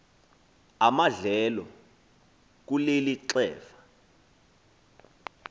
amadlelo kuleli xefa